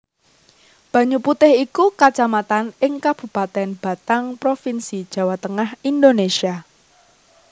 Banyuputih iku kacamatan ing Kabupatèn Batang Provinsi Jawa Tengah Indonésia